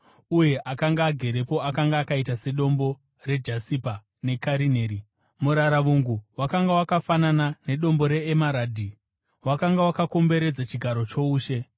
Uye akanga agerepo akanga akaita sedombo rejasipa nekarineri. Muraravungu, wakanga wakafanana nedombo reemaradhi, wakanga wakakomberedza chigaro choushe.